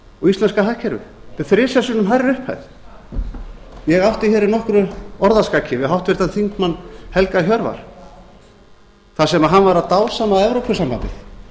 og íslenska hagkerfið þetta er þrisvar sinnum hærri upphæð ég átti hér í nokkru orðaskaki við háttvirtum þingmanni helga hjörvar þar sem hann var að dásama evrópusambandið